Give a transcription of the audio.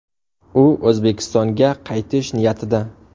U O‘zbekistonga qaytish niyatida.